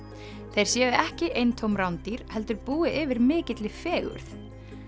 þeir séu ekki bara eintóm rándýr heldur búi yfir mikilli fegurð